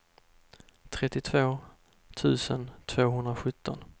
trettiotvå tusen tvåhundrasjutton